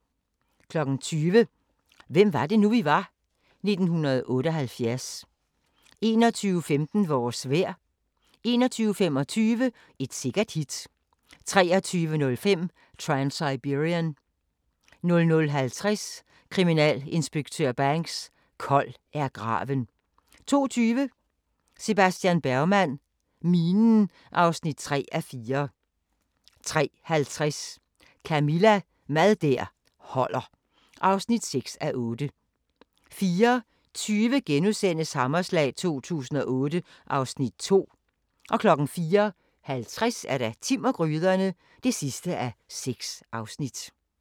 20:00: Hvem var det nu, vi var? - 1978 21:15: Vores vejr 21:25: Et sikkert hit 23:05: Transsiberian 00:50: Kriminalinspektør Banks: Kold er graven 02:20: Sebastian Bergman: Minen (3:4) 03:50: Camilla – Mad der holder (6:8) 04:20: Hammerslag 2008 (Afs. 2)* 04:50: Timm og gryderne (6:6)